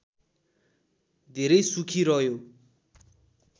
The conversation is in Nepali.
धेरै सुखी रह्यो